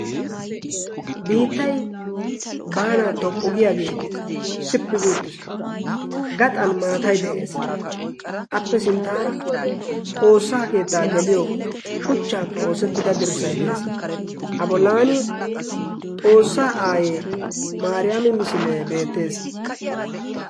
biittai baanan toppu giyaagee sippi guuttiis gaxan maatai de7ees appe sinttaara xoossaa keettaa geliyo shuchchaappe oosettida dirssai de7ees abolaani xoossaa aayee maariyaami misilee beettees